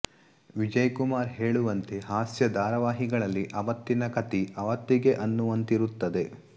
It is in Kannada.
ವಿಜಯಕುಮಾರ್ ಹಹೇಳುವಂತೆ ಹಾಸ್ಯ ಧಾರವಾಹಿಗಳಲ್ಲಿ ಅವತ್ತಿನ ಕತಿ ಅವತ್ತಿಗೆ ಅನ್ನುವಂತಿರುತ್ತದೆ